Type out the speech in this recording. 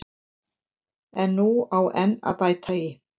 En nú á enn að bæta í.